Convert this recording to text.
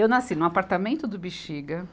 Eu nasci num apartamento do Bexiga,